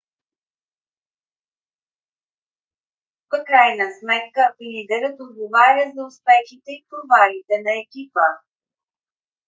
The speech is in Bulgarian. в крайна сметка лидерът отговаря за успехите и провалите на екипа